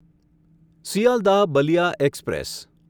Sealdah Ballia express